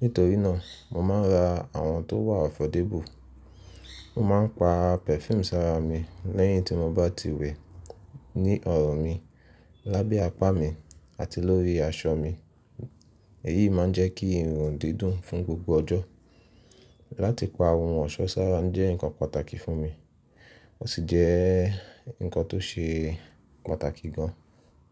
Nítorí náà, mo máa ń ra àwọn tó wà ọ̀fọ̀débù. Mo máa ń pa perfume sára mi lẹ́yìn tí mo bá ti wẹ ní ọ̀rùn mi, lábẹ́ apá mi àti lórí aṣọ mi. Èyí máa ń jẹ́ kí ń rùn dídùn fún gbogbo ọjọ́. Látí pa ohun ọ̀ṣọ́ sára ń jẹ́ nǹkan pàtàkì fún mi, ó sì jẹ́ nǹkan tó ṣe pàtàkì gan.